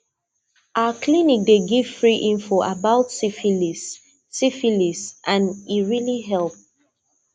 our clinic dey give free info about syphilis syphilis and e really help